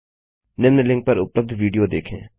निम्न लिंक पर उपलब्ध विडियो देखें